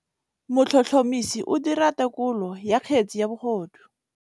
Motlhotlhomisi o dira têkolô ya kgetse ya bogodu.